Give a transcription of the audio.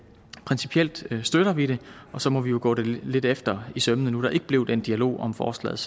principielt støtter vi det og så må vi jo gå det lidt efter i sømmene nu der ikke blev den dialog om forslaget